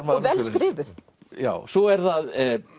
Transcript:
vel skrifuð svo er það